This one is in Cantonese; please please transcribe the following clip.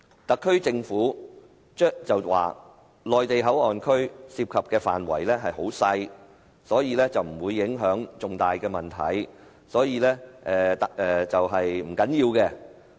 特區政府說內地口岸區涉及的範圍細小，所以不會有重大影響，是不要緊的。